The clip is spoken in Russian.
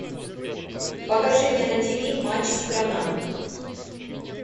покажи мне на ти ви матч страна